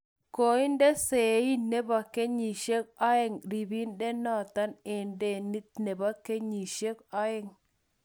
Koinde sein nepo kenyishek oeng ribindonoton en denit nepo kenyisiek oeng